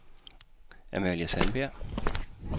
Amalie Sandberg